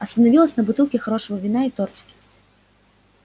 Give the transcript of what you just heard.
остановилась на бутылке хорошего вина и тортике